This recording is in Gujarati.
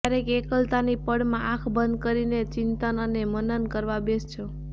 ક્યારેક એકલતાની પળમાં આંખ બંધ કરીને ચિંતન અને મનન કરવા બેસજો